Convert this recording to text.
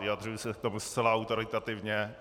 Vyjadřuji se v tom zcela autoritativně.